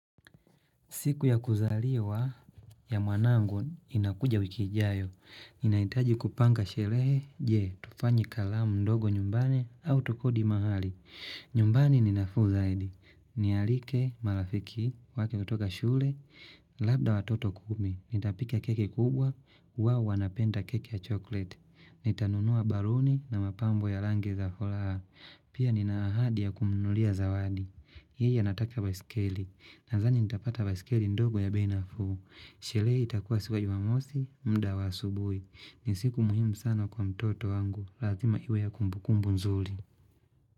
Siku ya kuzaliwa ya mwanangu inakuja wiki ijayo. Naitaji kupanga sherehe. Je, tufanye karamu ndogo nyumbani au tukodi mahali. Nyumbani ni nafuu zaidi. Nialike marafiki wake kutoka shule, labda watoto kumi. Nitapika keki kubwa, huwa wanapenda keki ya chocolate. Nitanunua baluni na mapambo ya rangi za furaha. Pia nina ahadi ya kumnunulia zawadi. Hii anataka baiskeli. Nadhani nitapata baiskeli ndogo ya bei nafuu Sherehe itakuwa siku ya jumamosi, mda wa asubuhi. Ni siku muhimu sana kwa mtoto wangu lazima iwe ya kumbukumbu nzuri.